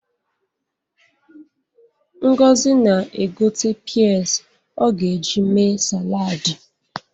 Ngozi na-egote pịas ọ ga-eji mee saladị.